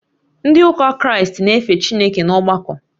Ndị ụka kraịstị na-efe Chineke n’ọgbakọ